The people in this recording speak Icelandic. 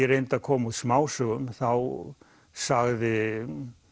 reyndi að koma út smásögum þá sagði